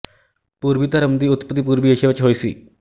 ਪੂਰਬੀ ਧਰਮ ਦੀ ਉਤਪਤੀ ਪੂਰਬੀ ਏਸ਼ੀਆ ਵਿੱਚ ਹੋਈ ਸੀ